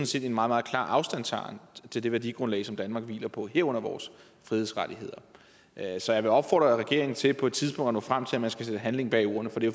set en meget meget klar afstandtagen til det værdigrundlag som danmark hviler på herunder vores frihedsrettigheder så jeg vil opfordre regeringen til på et tidspunkt at nå frem til at man skal sætte handling bag ordene for det